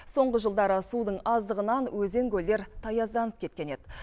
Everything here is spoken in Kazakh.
соңғы жылдары судың аздығынан өзен көлдер таязданып кеткен еді